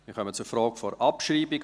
Wir kommen zur Frage der Abschreibung.